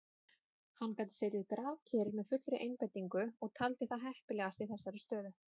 Hann gat setið grafkyrr með fullri einbeitingu og taldi það heppilegast í þessari stöðu.